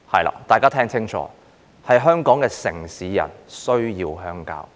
請大家聽清楚，香港的城市人現時需要鄉郊。